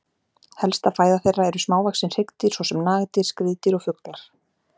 Helsta fæða þeirra eru smávaxin hryggdýr svo sem nagdýr, skriðdýr og fuglar.